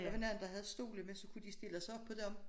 Der var nogen der havde stole med så kunne se stille sig op på dem